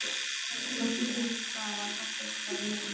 Hvorki fyrir framan afgreiðsluborðið né innan.